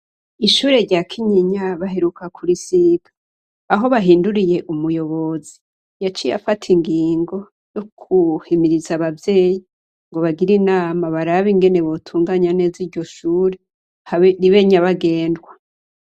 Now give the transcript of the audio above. Ishure rya Kinyinya baheruka kurisiga. Aho bahinduriye umuyobozi, yaciye afata ingingo yo guhimiriza abavyeyi ngo bagire inama barabe ingene botunganya neza iryo shure ribe nyabagendwa.